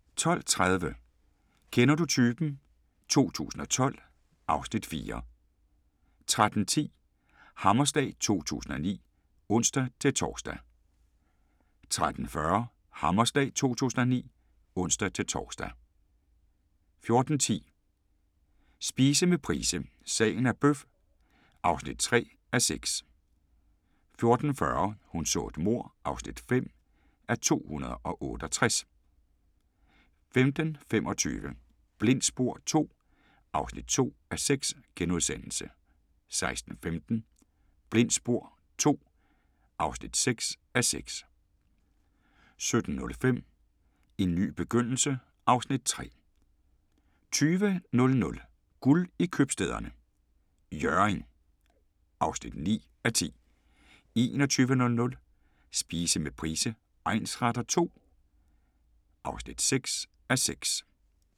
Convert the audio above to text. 12:30: Kender du typen? 2012 (Afs. 4) 13:10: Hammerslag 2009 (ons-tor) 13:40: Hammerslag 2009 (ons-tor) 14:10: Spise med Price – Sagen er bøf (3:6) 14:40: Hun så et mord (5:268) 15:25: Blindt spor II (2:6)* 16:15: Blindt spor II (6:6)* 17:05: En ny begyndelse (Afs. 3) 20:00: Guld i Købstæderne – Hjørring (9:10) 21:00: Spise med Price egnsretter II (6:6)